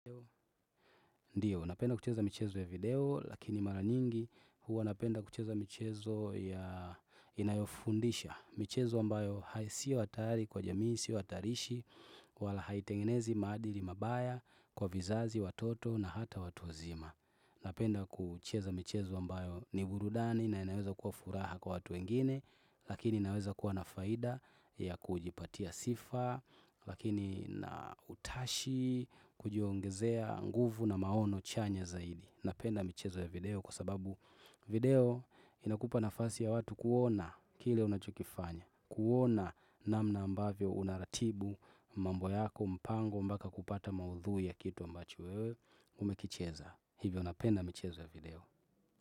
Ndiyo, napenda kucheza michezo ya video, lakini mara nyingi huwa napenda kucheza michezo ya inayofundisha. Michezo ambayo ha sio hatari kwa jamii, si hatarishi, wala haitengenezi maadili mabaya kwa vizazi watoto na hata watu wazima. Napenda kucheza michezo ambayo ni burudani na inaweza kuwa furaha kwa watu wengine, Lakini naweza kuwa na faida ya kujipatia sifa Lakini na utashi, kujiongezea nguvu na maono chanya zaidi Napenda michezo ya video kwa sababu video inakupa nafasi ya watu kuona kile unachokifanya kuona namna ambavyo unaratibu mambo yako mpango mbaka kupata maudhui ya kitu ambacho wewe Umekicheza, hivyo napenda michezo ya video.